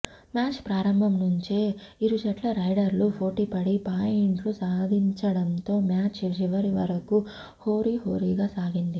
match ప్రారంభం నుంచే ఇరుజట్ల రైడర్లు పోటీపడి పా యింట్లు సాధిచడంతో మ్యాచ్ చివరివరకూ హోరీహోరీగా సాగింది